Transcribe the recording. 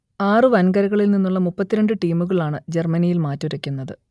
ആറു വൻകരകളിൽ നിന്നുള്ള മുപ്പത്തി രണ്ട് ടീമുകളാണ് ജർമ്മനിയിൽ മാറ്റുരയ്ക്കുന്നത്